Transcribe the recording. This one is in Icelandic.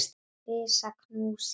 Risa knús í þitt hús.